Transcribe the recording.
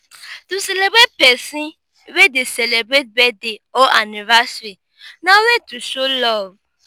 to celebrate persin wey de celebrate birthday or anniversary na way to show love